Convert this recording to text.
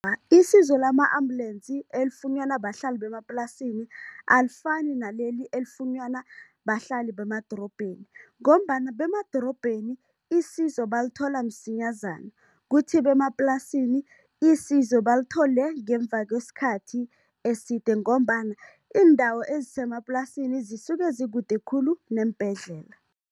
Isizo lama-ambulensi elifunyanwa bahlali bemaplasini, alifani naleli elifunyanwa bahlali bemadorobheni ngombana bemadorobheni isizo balithola msinyazana, kuthi bemaplasini isizo balithole ngemva kwesikhathi eside ngombana iindawo ezisemaplasini zisuke zikude khulu neembhedlela.